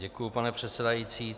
Děkuji, pane předsedající.